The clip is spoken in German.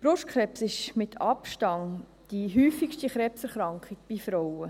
Brustkrebs ist mit Abstand die häufigste Krebserkrankung bei Frauen.